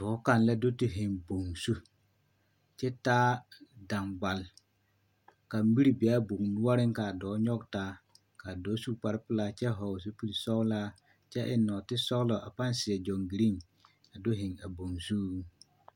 Dɔɔ kaŋ la do te zeŋ boŋ zu kyɛ taa daŋgbal ka miri bee boŋ noɔreŋ kaa dɔɔ nyɔge taa kaa dɔɔ su kparrepelaa kyɛ hɔɔl zupil sɔglaa seɛ kyɛ eŋ nɔɔte sɔglɔ a paŋ kyɛ seɛ gyɔŋgireŋ a do zeŋ a boŋ zuiŋ.